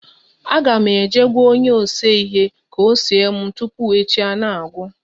Agam eje gwa onye na ese ihe ka ose m tupu echi a na-agwu.